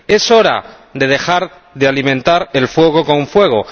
Es hora de dejar de alimentar el fuego con fuego.